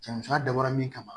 Janfa dabɔra min kama